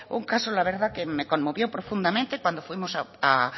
un caso la verdad que me conmovió profundamente cuando fuimos